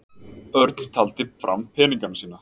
Örn taldi fram peningana sína.